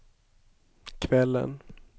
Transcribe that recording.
kvällen